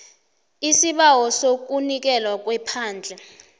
isibawo sokunikelwa kwephandle